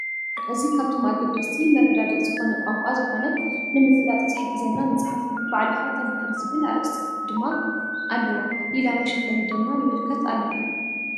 እዚ ካብቶም አገደስቲ መረዳድኢ ዝኮነ ቋንቋ ዝኮነ ንምፍላጥ ዝሕግዘና መፅሓፍ እዩ። ባዕልካ ተመሃር ዝብል አርእስቲ ድማ አለዎሊላ መሸፈኒ ድማ ንምልከት አለና።